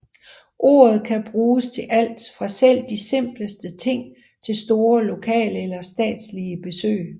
Ordet kan bruges til alt fra selv de simpleste ting til store lokale eller statslige besøg